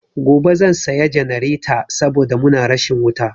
Gobe zan saya jannareta saboda muna rashin wuta.